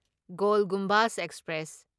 goal Gumbaz express